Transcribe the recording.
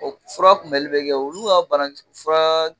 O fura kunbɛli bɛ kɛ olu ka bana t furaa